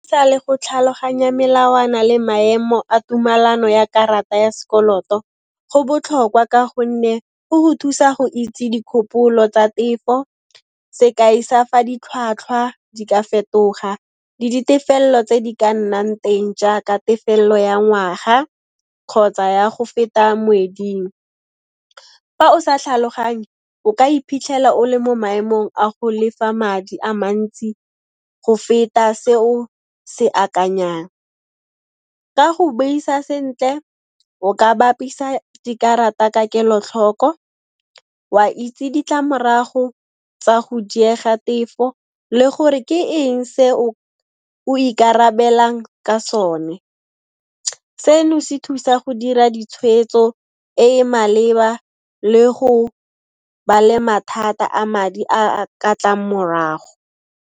Sa le go tlhaloganya melawana le maemo a tumalano ya karata ya s'koloto, go botlhokwa ka gonne go go thusa go itse dikgopolo tsa tefo sekai sa fa ditlhwatlhwa di ka fetoga le ditefello tse di ka nnang teng jaaka tefello ya ngwaga kgotsa ya go feta moeding. Fa o sa tlhaloganye, o ka iphitlhela o le mo maemong a go lefa madi a mantsi go feta se o se akanyang. Ka go buisa sentle, o ka bapisa dikarata ka kelo-tlhoko, wa itse ditlamorago tsa go diega tefo le gore ke eng se o ikarabelang ka sone. Seno se thusa go dira ditshweetso e e maleba le go ba le mathata a madi a a ka tlang morago.